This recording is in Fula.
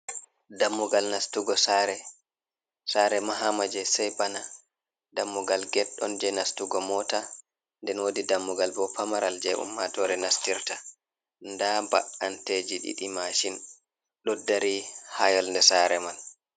Dammugal nastugo sare mahama je sai bana, dammugal ged on je nastugo mota, nden wodi dammugal bo pamaral je ummatore nastirta, nda ba’anteji ɗiɗi mashin ɗo dari ha yonde sare man.